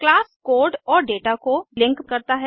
class code और दाता को लिंक करता है